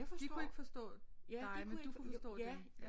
De kunne ikke forstå dig men du kunne forstå dem